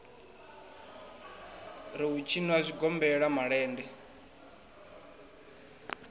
ri u tshinwa zwigombela malende